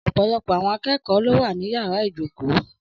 Ọ̀pọ̀lọpọ̀ àwọn akẹ́kọ̀ọ́ ló wà ní yàrá ìjókòó.